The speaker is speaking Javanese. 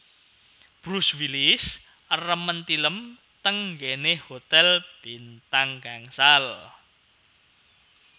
Bruce Willis remen tilem teng nggene hotel bintang gangsal